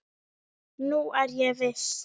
Nú er ég viss!